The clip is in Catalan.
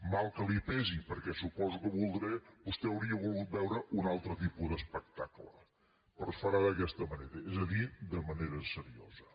mal que li pesi perquè suposo que vostè hauria volgut veure un altre tipus d’espectacle però es farà d’aquesta manera és a dir de manera seriosa